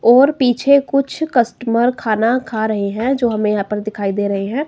और पीछे कुछ कस्टमर खाना खा रहे हैं जो हमें यहां पर दिखाई दे रहे हैं।